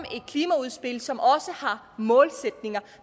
et klimaudspil som også har målsætninger